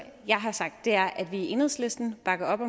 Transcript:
jeg har sagt er at vi i enhedslisten bakker op